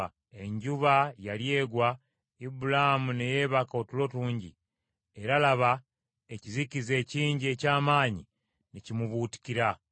Enjuba yali egwa, Ibulaamu ne yeebaka otulo tungi; era laba, ekizikiza ekingi eky’amaanyi ne kimubuutikira.